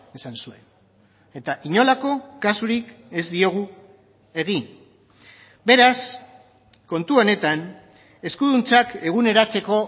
esan zuen eta inolako kasurik ez diogu egin beraz kontu honetan eskuduntzak eguneratzeko